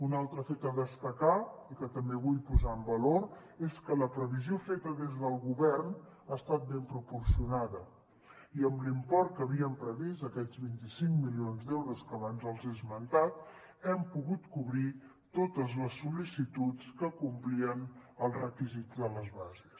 un altre fet a destacar i que també vull posar en valor és que la previsió feta des del govern ha estat ben proporcionada i amb l’import que havíem previst aquests vint cinc milions d’euros que abans els he esmentat hem pogut cobrir totes les sol·licituds que complien els requisits de les bases